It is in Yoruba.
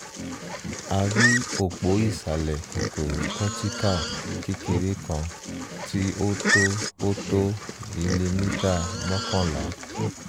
a rí òpó ìsàlẹ̀ kòkòrò cortical kékeré kan tí ó tó ó tó milimítà mọ́kànlá